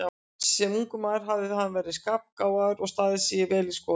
Sem ungur maður hafði hann verið skarpgáfaður og staðið sig vel í skóla.